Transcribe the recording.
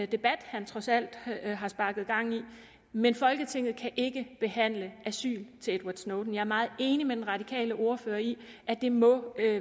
debat han trods alt har sparket gang i men folketinget kan ikke behandle asyl til edward snowden jeg er meget enig med den radikale ordfører i at det må